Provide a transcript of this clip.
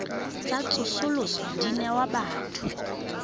tsa tsosoloso di newa batho